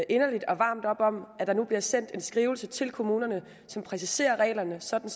inderligt og varmt op om at der nu bliver sendt en skrivelse til kommunerne som præciserer reglerne sådan